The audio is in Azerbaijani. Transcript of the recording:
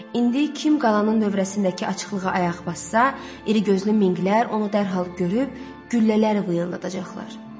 İndi kim qalanın dövrəsindəki açıqlığa ayaq bassa, irigözlü minqlər onu dərhal görüb güllələri vıyıldadacaqlar.